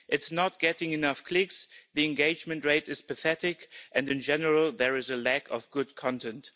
It's not getting enough clicks, the engagement rate is pathetic and, in general, there is a lack of good content.